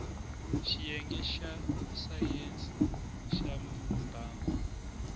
xiyenge xa sayense ya mbango